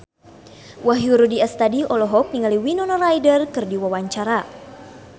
Wahyu Rudi Astadi olohok ningali Winona Ryder keur diwawancara